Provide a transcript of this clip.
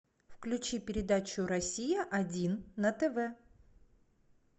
включи передачу россия один на тв